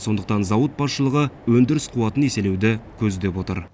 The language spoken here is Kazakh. сондықтан зауыт басшылығы өндіріс қуатын еселеуді көздеп отыр